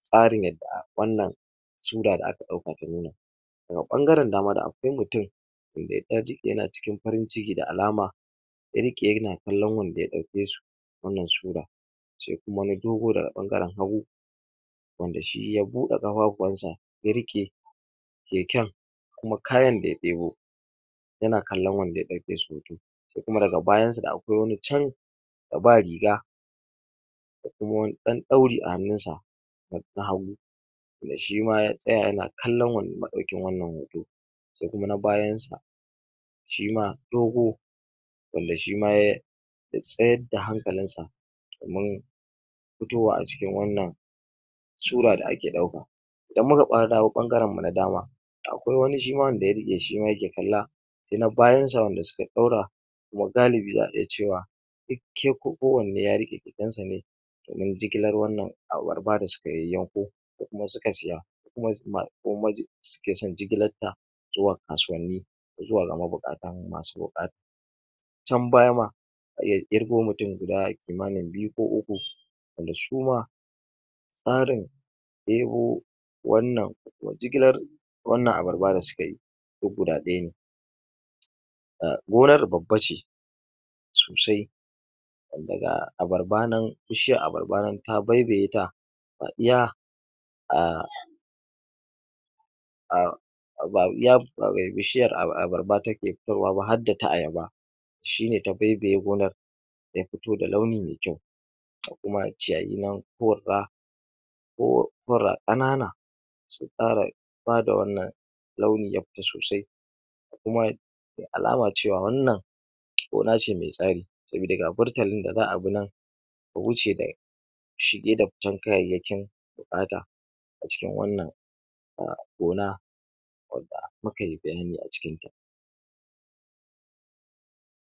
tsarin yadda wannan suda da aka dauka ta wannan ta na bangarin dama, da akwai mutum wanda ya dan ji, yana cikin farin ciki da alama kiri kiri ya na kallon wanda ya dauke su wannan suda ce kuma na dogo daga bangarin hagu wanda shi ya bude kafafuwan sa ya ruke kekan kuma kayan da ya debo ya na kallon wanda ya dauke su hoto sai kuma da ga bayan sa da akwai wani can da ba riga da kuma wani dan dauri a hanun sa na hagu wanda shima ya tsaya ya na kallon wa madaukin wannan hoto sai kuma na bayan sa shi ma dogo wanda shi ma ya ya tsayar da hankalin sa kaman fitowa a cikin wannan suda da ake dauka idan mu ka dawo na bangarin mu na dama akwai wani shi ma wanda ya ruke, shima ya ke kalla sai na bayan sa wanda su ka daura wagalibi za a iya cewa duk um, kowane ya ruke kekan sa ne domin jigilar wannan abarba da su yayanko ko kuma su ka siya su ke son jigilar ta zuwa kasuwanni zuwa ga mabukatan, masu bukata can baya ma ya girgo mutum guda, kimanin biyu ko uku wanda su ma tsarin debo wannan wa jigilar wannan abarba da suka yi ko guda daya ne um gonar babba ce sosai wanda ga abarba nan bishiyan abarba nan ta baibaye ta fadiya a a bishiyan abarba ta ke kai wa ba, hada ta ayaba shi ne ta baibaye gonar ya fito da launi mai kyau ga kuma ciyayi nan kuwarda ko pura kanana sun fara bada wannan launi ya fita sosai da kuma alaman cewa, wannan gona ce mai tsari saboda ga furtalin da za a bi nan a wuce da shi gidaptan kayayekin ya bata a cikin wannan um gona kuma ga mapaipayi ne a cikin